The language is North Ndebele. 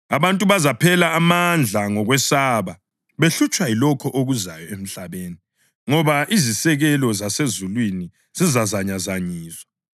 Abantu bazaphela amandla ngokwesaba, behlutshwa yilokho okuzayo emhlabeni, ngoba izisekelo zasezulwini zizazanyazanyiswa.